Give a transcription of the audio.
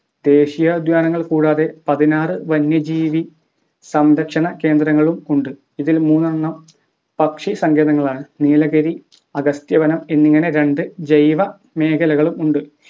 ദേശീയോദ്യാനങ്ങൾ കൂടാതെ പതിനാറ് വന്യജീവി സംരക്ഷണ കേന്ദ്രങ്ങളും ഉണ്ട് ഇതിൽ മൂന്നെണ്ണം പക്ഷിസങ്കേതങ്ങളാണ് നീലഗിരി അഗസ്ത്യവനം എന്നിങ്ങനെ രണ്ട് ജൈവ മേഖലകളും ഉണ്ട്